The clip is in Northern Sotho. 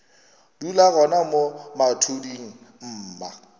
dula gona mo mathuding mma